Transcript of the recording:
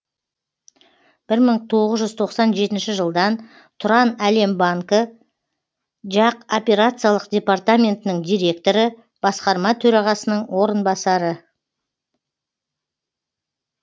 бір мың тоғыз жүз тоқсан жетінші жылдан тұранәлем банкі жақ операциялық департаментінің директоры басқарма төрағасының орынбасары